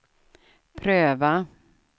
pröva